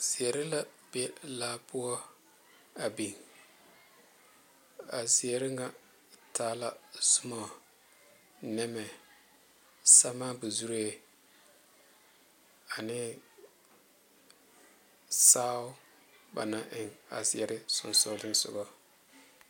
zeɛre la be laa poɔ a biŋ a zeɛre ŋa taa la zumɔɔ nɛmɛ samabozu ane saao ba naŋ eŋ a zeɛre sonsoŋlisoŋa.